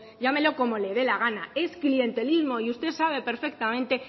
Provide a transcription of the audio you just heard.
llámelo como le dé la gana es clientelismos y usted sabe perfectamente